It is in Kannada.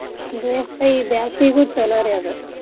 ಬೇಷ್ ರೀ ಈ ಬ್ಯಾಸ್ಗೀಗೂ ಚೊಲೋ ರೀ ಅದ್.